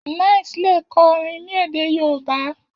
9ice lè kọ orin ní èdè yoòbá